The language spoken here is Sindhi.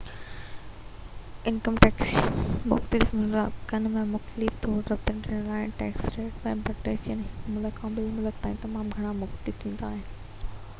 انڪم ٽيڪس مختلف ملڪن ۾ مختلف طور ترتيب ڏنل آهي ۽ ٽيڪس ريٽ ۽ بريڪيٽس هڪ ملڪ کان ٻئي ملڪ تائين تمام گهڻا مختلف ٿيندا آهن